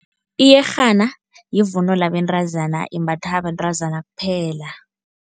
Iyerhana yivunulo yabentazana, imbathwa bentazana kuphela.